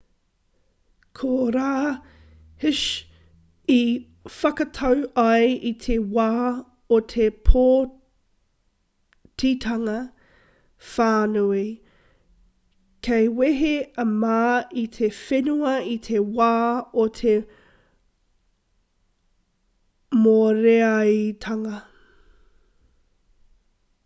ko rā hsieh i whakatau ai i te wā o te pōtitanga whānui kei wehe a ma i te whenua i te wā o te mōreareatanga